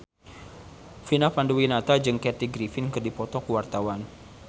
Vina Panduwinata jeung Kathy Griffin keur dipoto ku wartawan